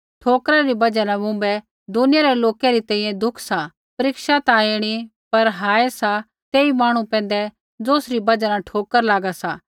ठोकरा री बजहा न मुँभै दुनिया रै लोकै री तैंईंयैं दुख सा परीक्षा ता ऐणी पर हाय सा तेई मांहणु पैंधै ज़ौसरी बजहा न ठोकर लागा सा